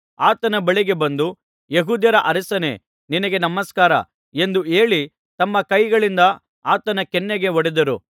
ಆತನ ಬಳಿಗೆ ಬಂದು ಯೆಹೂದ್ಯರ ಅರಸನೇ ನಿನಗೆ ನಮಸ್ಕಾರ ಎಂದು ಹೇಳಿ ತಮ್ಮ ಕೈಗಳಿಂದ ಆತನ ಕೆನ್ನೆಗೆ ಹೊಡೆದರು